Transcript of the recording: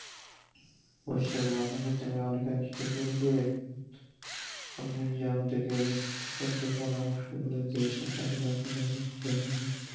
অবশ্যই এবং আজকে আপনার সাথে অনেক গুরুত্ব পূর্ণ যে আমাদেরকে অন্তত পরামর্শ গুলো দিয়েছেন যেটা আপনি পারলেন ধন্যবাদ